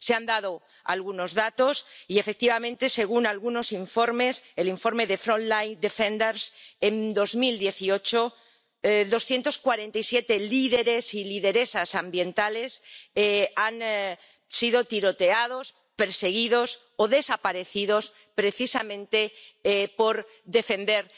Se han dado algunos datos, y, efectivamente, según algunos informes, como el informe de Front Line Defenders en 2018 doscientos cuarenta y siete líderes y lideresas ambientales han sido tiroteados, perseguidos o han desaparecido precisamente por defender